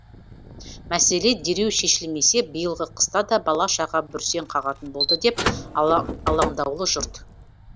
мәселе дереу шешілмесе биылғы қыста да бала шаға бүрсең қағатын болды деп алаңдаулы жұрт